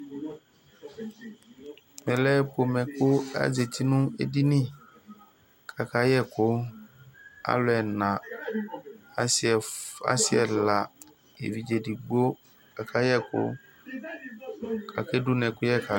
Ɛmɛ lɛ pomɛ kʋ azǝti nʋ edini, akayɛ ɛkʋ Alu ɛna: asi ɛla, evidze edigbo kʋ akayɛ ɛkʋ, kʋ aka dunu ɛkʋyɛ ka alɛ